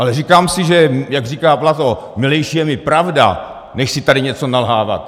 Ale říkám si, jak říká Platón, milejší je mi pravda, než si tady něco nalhávat.